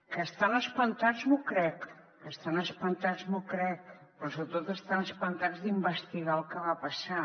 que estan espantats m’ho crec que estan espantats m’ho crec però sobretot estan espantats d’investigar el que va passar